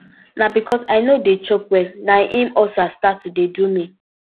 na because i no dey chop well na im ulcer start to dey do me